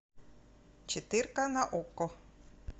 четырка на окко